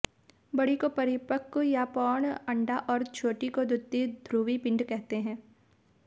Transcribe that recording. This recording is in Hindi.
बड़ी को परिपक्व या प्रौढ़ अंडा और छोटी को द्वितीय ध्रुवीय पिंड कहते हैं